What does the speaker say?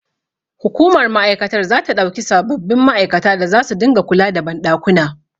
Hukumar ma'aikatar zata ɗauki sababbin ma'aikata da zasu dinga kula da banɗakuna.